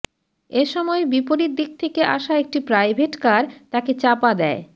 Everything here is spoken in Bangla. এ সময় বিপরীত দিক থেকে আসা একটি প্রাইভেটকার তাকে চাপা দেয়